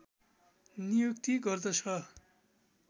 नियुक्ति गर्दछ